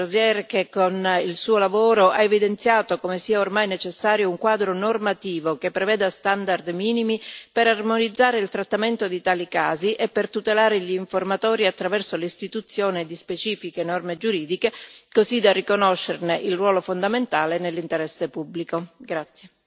Ringrazio l'onorevole Rozière che, con il suo lavoro, ha evidenziato come sia ormai necessario un quadro normativo che preveda standard minimi per armonizzare il trattamento di tali casi e per tutelare gli informatori, attraverso l'istituzione di specifiche norme giuridiche, così da riconoscerne il ruolo fondamentale nell'interesse pubblico.